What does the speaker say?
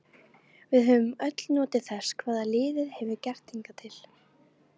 Við höfum öll notið þess hvað liðið hefur gert hingað til.